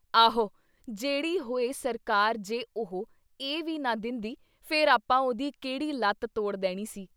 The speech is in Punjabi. ਆਹੋ ! ਜਿਹੜੀ ਹੋਈ ਸਰਕਾਰ ਜੇ ਉਹ ਇਹ ਵੀ ਨਾ ਦਿੰਦੀ ਫਿਰ ਆਪਾਂ ਉਹਦੀ ਕਿਹੜੀ ਲੱਤ ਤੋੜ ਦੇਣੀ ਸੀ ?